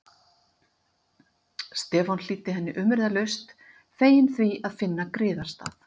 Stefán hlýddi henni umyrðalaust, feginn því að finna griðastað.